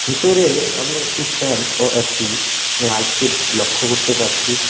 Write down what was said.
ভিতরে আমি একটি ফ্যান ও একটি লাইট কে লক্ষ করতে পারছি।